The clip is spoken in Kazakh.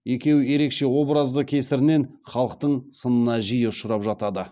екеуі ерекше образды кесірінен халықтың сынына жиі ұшырап жатады